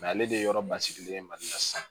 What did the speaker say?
ale de ye yɔrɔ basigilen ye mali la sisan